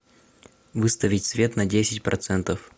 выставить свет на десять процентов